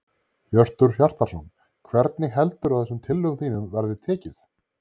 Hjörtur Hjartarson: Hvernig heldurðu að þessum tillögum þínum verði tekið?